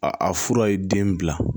A a fura ye den bila